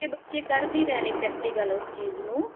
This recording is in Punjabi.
ਬੱਚੇ ਕਰ ਵੀ ਰਹੇ ਨੇ practical ਉਸ ਚੀਜ਼ ਨੂੰ